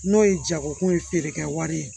N'o ye jagokun ye feere kɛ wari ye